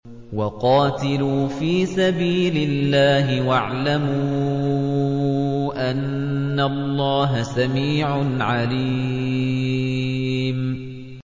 وَقَاتِلُوا فِي سَبِيلِ اللَّهِ وَاعْلَمُوا أَنَّ اللَّهَ سَمِيعٌ عَلِيمٌ